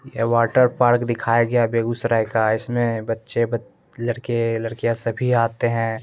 यह वाटरपार्क दिखाय गया है बेगूसराय का इसमें बच्चे ब लड़के लड़कियाँ सभी आते हैं।